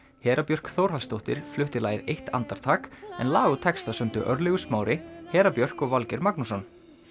Hera Björk Þórhallsdóttir flutti lagið eitt andartak en lag og texta sömdu Örlygur Smári Hera Björk og Valgeir Magnússon